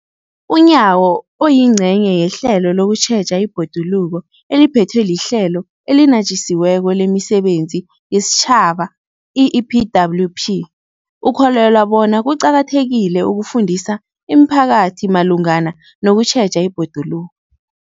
UNyawo, oyingcenye yehlelo lokutjheja ibhoduluko eliphethwe liHlelo eliNatjisi weko lemiSebenzi yesiTjhaba, i-EPWP, ukholelwa bona kuqakathekile ukufundisa imiphakathi malungana nokutjheja ibhoduluko.